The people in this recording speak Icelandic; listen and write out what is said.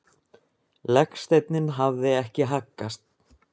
Legsteinninn hafði ekki haggast.